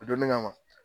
O donni kama